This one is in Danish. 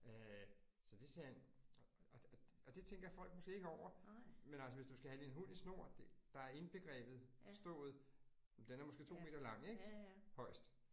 Øh så det sagde han og og det tænker folk måske ikke over, men altså hvis du skal have din hund i snor, der er indbegrebet forstået. Den er måske 2 meter lang ik? Højest